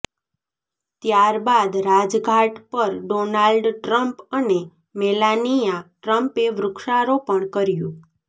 ત્યારબાદ રાજઘાટ પર Donald Trump અને મેલાનિયા ટ્રમ્પે વૃક્ષારોપણ કર્યુ